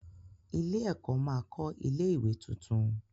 Ilé-ẹ̀kọ́ máa kọ́ ilé-ìwé tuntun.